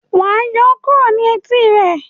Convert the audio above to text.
wá yọ kúrò ní Etí e!